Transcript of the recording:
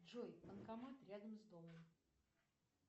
джой банкомат рядом с домом